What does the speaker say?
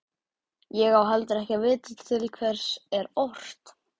Ég á heldur ekki að vita til hvers er ort.